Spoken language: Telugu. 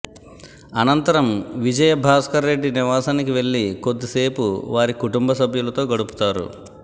అనంతరం విజయభాస్కరరెడ్డి నివాసానికి వెళ్లి కొద్దిసేపు వారి కుటుంబ సభ్యులతో గడుపుతారు